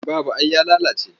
Babu ai ya lalace.